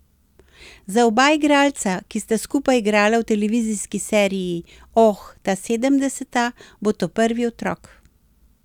Za oba igralca, ki sta skupaj igrala v televizijski seriji Oh, ta sedemdeseta, bo to prvi otrok.